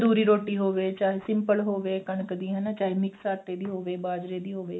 ਤੰਦੂਰੀ ਰੋਟੀ ਹੋਵੇ ਚਾਹੇ simple ਹੋਵੇ ਚਾਹੇ ਕਣਕ ਦੀ ਚਾਹੇ mix ਆਟੇ ਦੀ ਹੋਵੇ ਬਾਜਰੇ ਦੀ ਹੋਵੇ